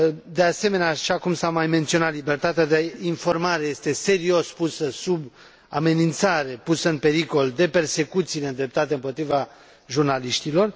De asemenea, așa cum s a mai menționat, libertatea de informare este serios pusă sub amenințare, pusă în pericol de persecuțiile îndreptate împotriva jurnaliștilor.